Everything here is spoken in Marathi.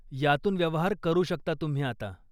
यातून व्यवहार करू शकता तुम्ही आता.